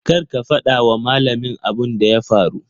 Kar ka fada wa malamin abun da ya faru.